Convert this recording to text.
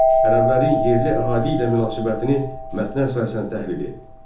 Ərəblərin yerli əhali ilə münasibətini mətnə əsasən təhlil edin.